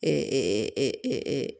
E